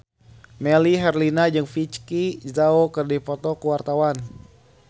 Melly Herlina jeung Vicki Zao keur dipoto ku wartawan